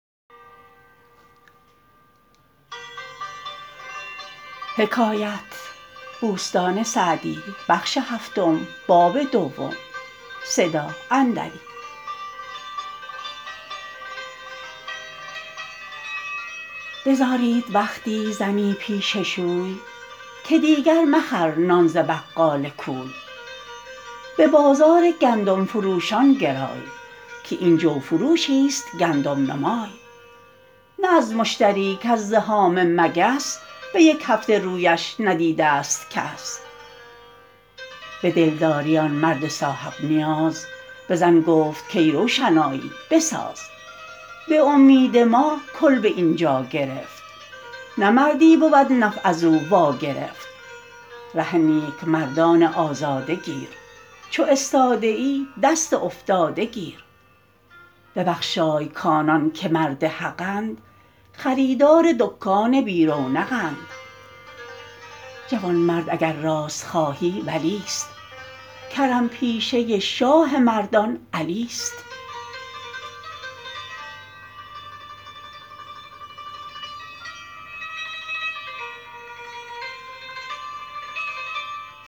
بزارید وقتی زنی پیش شوی که دیگر مخر نان ز بقال کوی به بازار گندم فروشان گرای که این جو فروشی ست گندم نما ی نه از مشتری کز زحام مگس به یک هفته رویش ندیده ست کس به دلداری آن مرد صاحب نیاز به زن گفت کای روشنایی بساز به امید ما کلبه اینجا گرفت نه مردی بود نفع از او وا گرفت ره نیک مردان آزاده گیر چو استاده ای دست افتاده گیر ببخشای کآنان که مرد حقند خریدار دکان بی رونق ند جوانمرد اگر راست خواهی ولی ست کرم پیشه شاه مردان علی ست